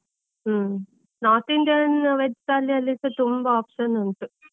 ಹು, North Indian veg thali ಅಲ್ಲಿಸ ತುಂಬಾ option ಉಂಟು.